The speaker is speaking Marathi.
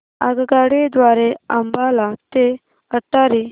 आगगाडी द्वारे अंबाला ते अटारी